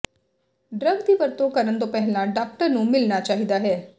drug ਦੀ ਵਰਤੋਂ ਕਰਨ ਤੋਂ ਪਹਿਲਾਂ ਡਾਕਟਰ ਨੂੰ ਮਿਲਣਾ ਚਾਹੀਦਾ ਹੈ